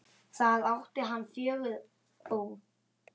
Þar átti hann fjögur bú.